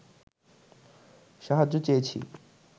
সাহায্য চেয়েছি